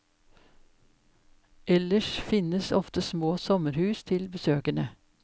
Ellers finnes ofte små sommerhus til besøkende.